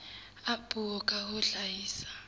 a puo ka ho hlahisa